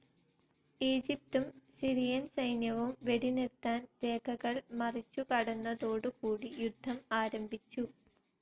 ഈജിപ്തും സിറിയൻ സൈന്യവും വെടിനിർത്തൽ രേഖകൾ മുറിച്ചു കടന്നതോടു കൂടി യുദ്ധം ആരംഭിച്ചു.